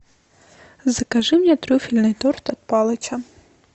закажи мне трюфельный торт от палыча